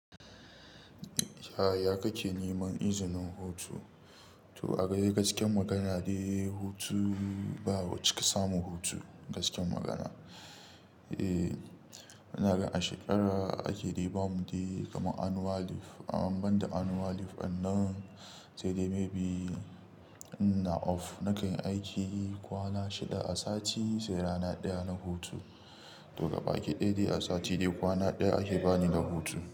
Yaya kake neman izinin hutu? To a gaskiyar magana dai hutu ba cika samu hutu gaskiyar magana. Eh, ina ga a shekara ake dai ba mu dai kamar annual leave. Amman banda annual leave ɗinnan sai dai maybe in ina off na kan yi aiki kwana shida a sati sai rana ɗaya na hutu. To gabaki ɗaya dai a sati dai kwana ɗaya ake bani da hutu.